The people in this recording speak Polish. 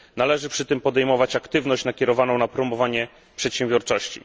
Należy przy tym podejmować aktywność nakierowaną na promowanie przedsiębiorczości.